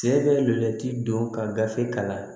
Se bɛ lutigi don ka gafe kalan